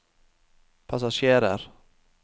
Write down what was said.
passasjerer